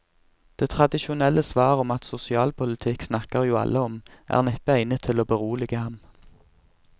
Det tradisjonelle svar om at sosialpolitikk snakker jo alle om, er neppe egnet til å berolige ham.